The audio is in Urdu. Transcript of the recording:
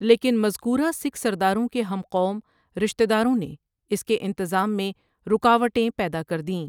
لیکن مذکورہ سکھ سرداروں کے ہم قوم رشتہ داروں نے اس کے انتظام میں رکاوٹیں پیدا کر دیں ۔